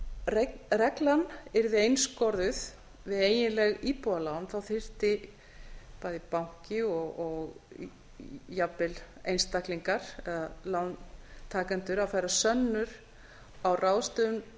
ef reglan yrði einskorðuð við eiginleg íbúðarlán þyrfti bæði banki og jafnvel einstaklingar lántakendur að færa sönnur á ráðstöfun